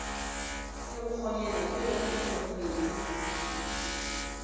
ya bakgonyana ke yona tholomedi